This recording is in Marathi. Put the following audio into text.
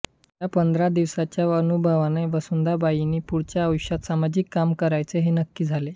या पंधरा दिवसांच्या अनुभवाने वसुधाबाईंनी पुढच्या आयुष्यात सामाजिक काम करायचे हे नक्की झाले